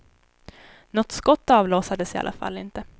Något skott avlossades i alla fall inte.